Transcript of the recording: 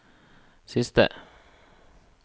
siste